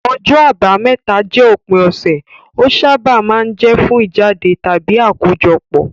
Ọjọ́ Àbámẹ́ta jẹ́ òpin ọ̀sẹ̀, ó sábà máa ń jẹ́ fún ìjáde tàbí àkójọpọ̀.